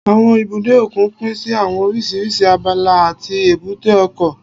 Àwọn ibùdó òkun pín sí àwọn oríṣiríṣi abala àti èbúté ọkọ̀